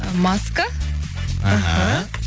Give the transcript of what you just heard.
ы маска іхі